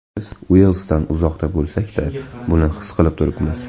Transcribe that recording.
Biz Uelsdan uzoqda bo‘lsakda, buni his qilib turibmiz.